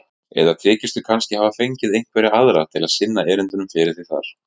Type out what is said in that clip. Eða þykistu kannski hafa fengið einhverja aðra til að sinna erindunum fyrir þig þar.